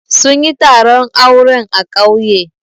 Sun yi taron auren a ƙauye.